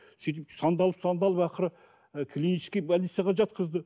сөйтіп сандалып сандалып ақыры ы клинический больницаға жатқызды